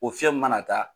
O fiɲɛ mana taa